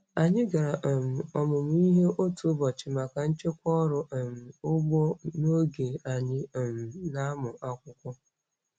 Anyị gara um ọmụmụ ihe otu ụbọchị maka nchekwa ọrụ um ugbo n'oge anyị um na-amụ akwụkwọ.